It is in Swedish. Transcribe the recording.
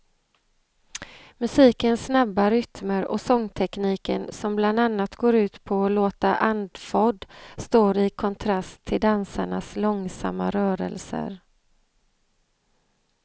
Musikens snabba rytmer och sångtekniken som bland annat går ut på att låta andfådd står i kontrast till dansarnas långsamma rörelser.